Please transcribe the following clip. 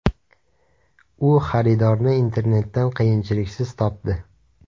U xaridorni internetdan qiyinchiliksiz topdi.